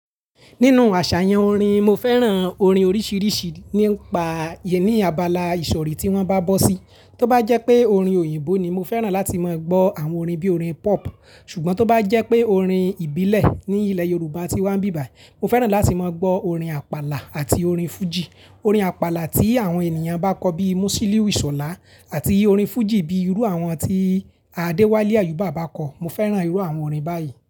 Nínú àṣàyàn orin, mo fẹ́ràn orin oríṣiríṣi nípa ìyèn ní ábalà ìsọ̀rí tí wọ́n bá bọ́ sí. Tóbá jẹ́ pé orin òyìnbó ni, mo fẹ́ràn láti máa gbọ́ àwọn orin bíi orin pop, ṣùgbọ́n tó bá jẹ́ pé orin ìbílẹ̀ ní ilẹ̀ Yorùbá tí wá n bí bàyi, mo fẹ́ràn láti máa gbọ́ orin àpàlà àti orin fújì. Orin àpàlà tí àwọn ènìyàn bá kọ bíi Músílìù Ìṣọ̀lá àti orin fújì bíi irú àwọn tí Adéwálé Àyùbà bá kọ. Mo fẹ́ràn irú àwọn orin báyìí.